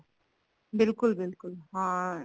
ਬਿਲਕੁਲ ਬਿਲਕੁਲ ਹਾਂ